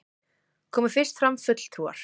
Komu fyrst fram fulltrúar